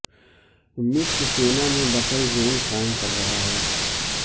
مصر سینا میں buffer zone قائم کر رہا ہے